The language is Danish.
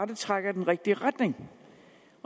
det trækker i den rigtige retning